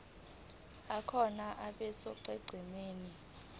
akhona abe sonqenqemeni